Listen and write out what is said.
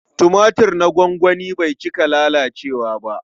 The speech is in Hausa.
Tumatir na gwangwani bai cika lalacewa ba.